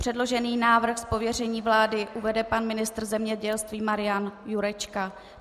Předložený návrh z pověření vlády uvede pan ministr zemědělství Marian Jurečka.